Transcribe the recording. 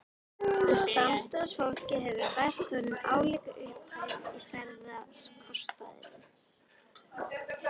Og samstarfsfólkið hefur fært honum álíka upphæð í ferðakostnaðinn.